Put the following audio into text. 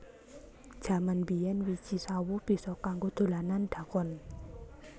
Jaman biyen wiji sawo bisa kanggo dolanan dakon